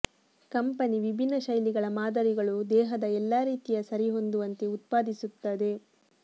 company ವಿಭಿನ್ನ ಶೈಲಿಗಳ ಮಾದರಿಗಳು ದೇಹದ ಎಲ್ಲಾ ರೀತಿಯ ಸರಿಹೊಂದುವಂತೆ ಉತ್ಪಾದಿಸುತ್ತದೆ